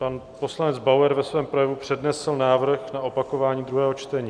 Pan poslanec Bauer ve svém projevu přednesl návrh na opakování druhého čtení.